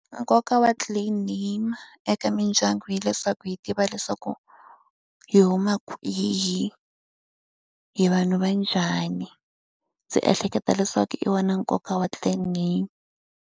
Nkoka wa clan name eka mindyangu hileswaku hi tiva leswaku hi huma hi hi vanhu va njhani. Ndzi ehleketa leswaku hi wa nkoka wa clan name.